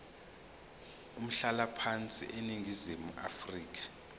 umhlalaphansi eningizimu afrika